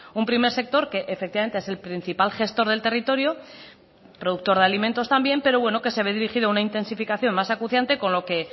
un primer sector que efectivamente es el principal gestor del territorio productor de alimentos también pero bueno que se ve dirigido a una intensificación más acuciante con lo que